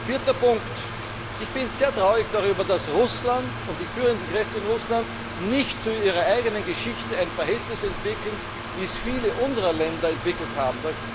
Viertens Ich bin sehr traurig darüber, dass Russland und die führenden Kräfte in Russland zu ihrer eigenen Geschichte nicht ein Verhältnis entwickeln, wie es viele unserer Länder entwickelt haben.